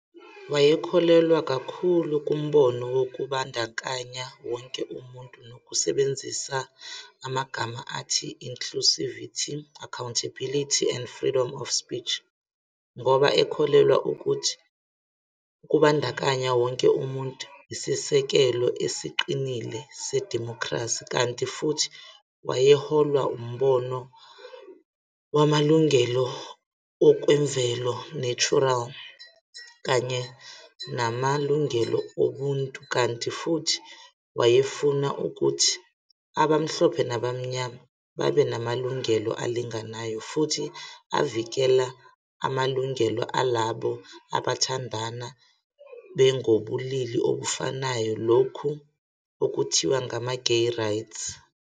Wayekholelwa kakhulu kumbono wokubandakanya wonke umuntu nokusebenzisa amagama athi-, "inclusivity, accountability and freedom of speech, ngoba ekholelwa ukuthi ukubandakanya wonke umuntu isisekelo esiqinile sedimokhrasi, kanti futhi wayeholwa umbono wamalungelo okwemvelo, natural, kanye namalungelo obuntu, kanti futhi wayefuna ukuthi abamhlophe nabamnyama babenamalungelo alinganayo, futhi evikela namalungelo alabo abathandana bengobobulili obufanayo, lokhu okuthiwa ngama-gay rights